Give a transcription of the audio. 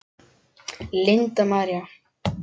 Linda María.